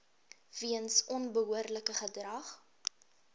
weens onbehoorlike gedrag